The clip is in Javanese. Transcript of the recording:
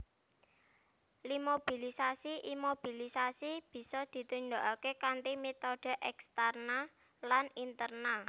Iimobilisasi Imobilisasi bisa ditindakake kanthi metode eksterna lan interna